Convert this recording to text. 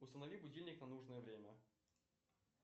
установи будильник на нужное время